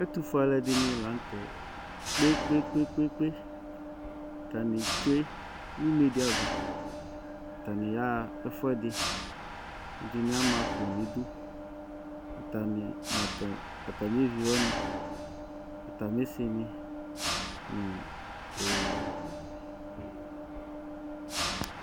Ɛtʋfue alʋɛdɩnɩ la nʋ tɛ kpe-kpe-kpe Atanɩ tsue nʋ une dɩ ava Atanɩ yaɣa ɛfʋɛdɩ Ɛdɩnɩ ama akpo nʋ idu, atanɩ nʋ atamɩevi wanɩ, atamɩsɩnɩ nʋ e